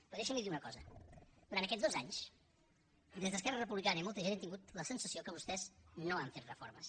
però deixi’m li dir una cosa durant aquests dos anys des d’esquerra republicana i molta gent hem tingut la sensació que vostès no han fet reformes